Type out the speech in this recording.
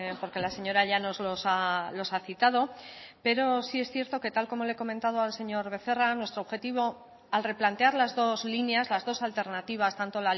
porque la señora llanos los ha citado pero sí es cierto que tal como le he comentado al señor becerra nuestro objetivo al replantear las dos líneas las dos alternativas tanto